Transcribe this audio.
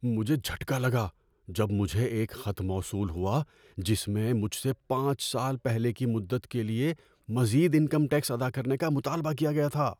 مجھے جھٹکا لگا جب مجھے ایک خط موصول ہوا جس میں مجھ سے پانچ سال پہلے کی مدت کے لیے مزید انکم ٹیکس ادا کرنے کا مطالبہ کیا گیا تھا۔